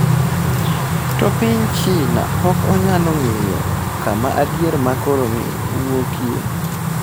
To piny China pok onyalo ng’eyo kama adier ma koroni wuokie.